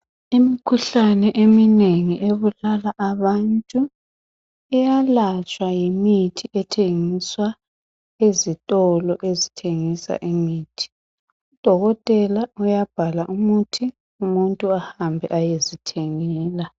Imkhuhlane eminengi ebulala abantu iyalatshwa yimithi ethengiswa ezitolo ezithengisa imithi. Udokotela uyabhala umuthi umuntu ahambe ayezithengela.